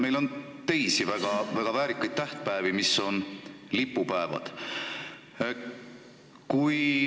Meil on ka teisi väga väärikaid tähtpäevi, mis on lipupäevad.